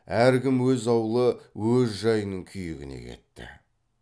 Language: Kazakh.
әркім өз аулы өз жайының күйігіне кетті